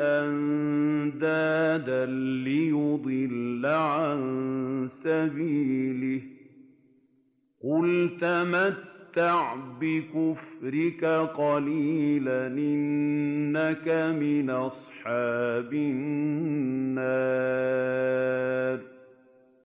أَندَادًا لِّيُضِلَّ عَن سَبِيلِهِ ۚ قُلْ تَمَتَّعْ بِكُفْرِكَ قَلِيلًا ۖ إِنَّكَ مِنْ أَصْحَابِ النَّارِ